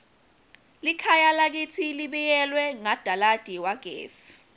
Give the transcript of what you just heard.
likhaya lakitsi libiyelwe ngadalada wagesi